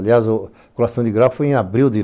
Aliás, a colação de grau foi em abril de....